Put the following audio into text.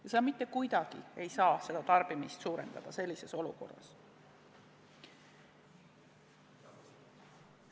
Ja sa mitte kuidagi ei saa tarbimist sellises olukorras suurendada.